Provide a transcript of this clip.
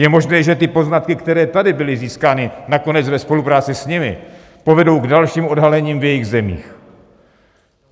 Je možné, že ty poznatky, které tady byly získány, nakonec ve spolupráci s nimi povedou k dalšímu odhalení v jejich zemích.